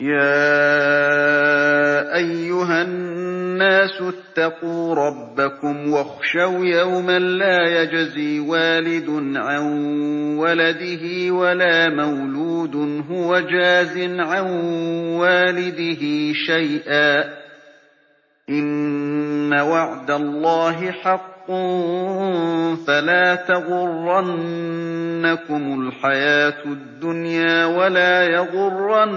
يَا أَيُّهَا النَّاسُ اتَّقُوا رَبَّكُمْ وَاخْشَوْا يَوْمًا لَّا يَجْزِي وَالِدٌ عَن وَلَدِهِ وَلَا مَوْلُودٌ هُوَ جَازٍ عَن وَالِدِهِ شَيْئًا ۚ إِنَّ وَعْدَ اللَّهِ حَقٌّ ۖ فَلَا تَغُرَّنَّكُمُ الْحَيَاةُ الدُّنْيَا وَلَا يَغُرَّنَّكُم